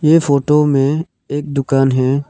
ये फोटो में एक दुकान है।